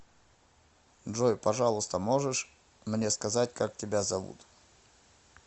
джой пожалуйста можешь мне сказать как тебя зовут